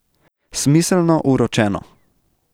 Smiselno uročeno.